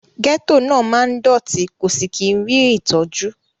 Gẹ́tò máa ń dọ̀tí kò sì kí rí ìtọ́jú.